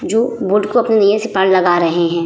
जो बोट को अपने नैया से पार लगा रहें हैं।